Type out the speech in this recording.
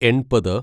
എൺപത്